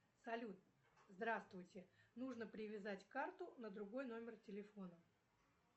салют здравствуйте нужно привязать карту на другой номер телефона